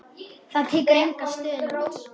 Það tekur enga stund.